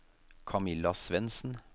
Camilla Svendsen